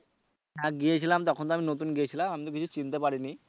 হ্যা গিয়েছিলাম তখন তো আমি নতুন গিয়েছিলাম আমি তো বেশি চিনতে পারিনি।